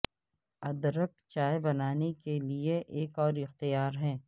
ادرک چائے بنانے کے لئے ایک اور اختیار ہے